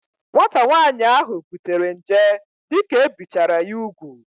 Nwata nwaanyị ahu butere nje dike ebichara ya ugwu